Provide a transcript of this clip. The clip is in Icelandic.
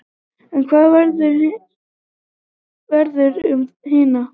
En hvað verður um hina?